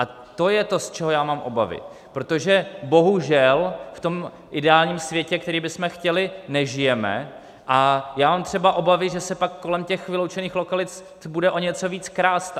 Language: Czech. A to je to, z čeho já mám obavy, protože bohužel v tom ideálním světě, který bychom chtěli, nežijeme a já mám třeba obavy, že se pak kolem těch vyloučených lokalit bude o něco více krást.